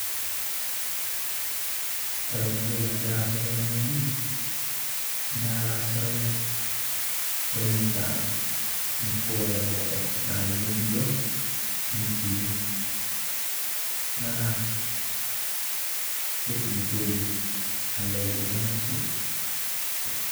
kore ntokii nagiraa aaza tenee naa lazurai logiraa anyaa nchii nkerai enkoko naa keijoritaa